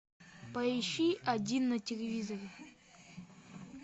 поищи один на телевизоре